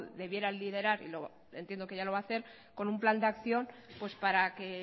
debiera liderar entiendo que ya lo va hacer con un plan de acción pues para que